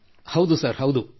ಹೌದು ಸರ್ ಹೌದು ಸರ್